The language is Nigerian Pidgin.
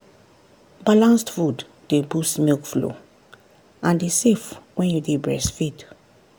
balanced food dey boost milk flow and e safe when you dey breastfeed.